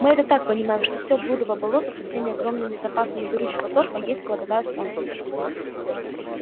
мы это так понимаем что все блудово болото со всеми огромными запасами горючего торфа есть кладовая солнца